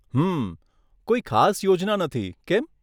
હમમમ, કોઈ ખાસ યોજના નથી, કેમ?